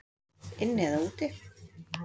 Inni eða úti?